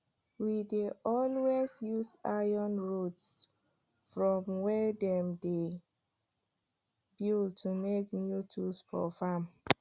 we dey always use iron rods from wey dem dey build to make new tools for farm